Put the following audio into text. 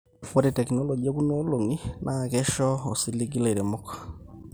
ore tekinologi ekuna olong'i naa keisho osiligi ilairemok